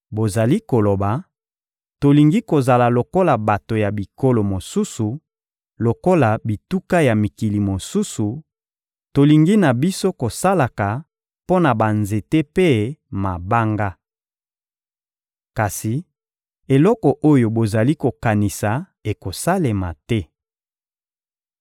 Bozali koloba: ‘Tolingi kozala lokola bato ya bikolo mosusu, lokola bituka ya mikili mosusu; tolingi na biso kosalaka mpo na banzete mpe mabanga.’ Kasi eloko oyo bozali kokanisa ekosalema te.